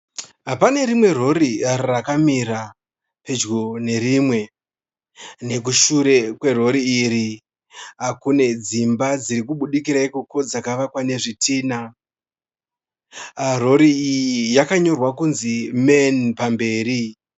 Pane rimwe rori rakamira pedyo nerimwe. Nekushure kwerori iri kune dzimba dziri kubudikira ikoko dzakavakwa nezvitinha. Rori iyi yakanyorwa kunzi MAN pamberi.